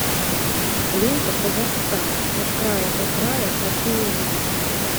лента казахстан от края до края хочу увидеть